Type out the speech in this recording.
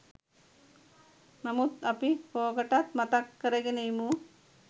නමුත් අපි කෝකටත් මතක් කරගෙන ඉමු